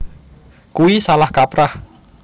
Kuwi salah kaprah